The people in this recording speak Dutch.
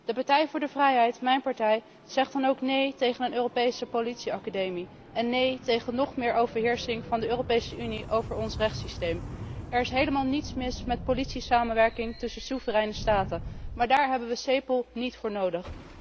De Partij voor de Vrijheid, mijn partij, zegt dan ook nee tegen een Europese politieacademie en nee tegen nog meer overheersing van ons rechtssysteem door de Europese Unie. Er is helemaal niets mis met politiesamenwerking tussen soevereine staten, maar daar hebben we Cepol niet voor nodig.